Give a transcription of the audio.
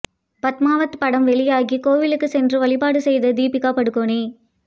பத்மாவத் படம் வெளியாக கோவிலுக்கு சென்று வழிபாடு செய்த தீபிகா படுகோனே